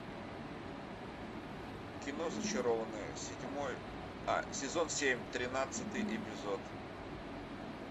кино зачарованные седьмой а сезон семь тринадцатый эпизод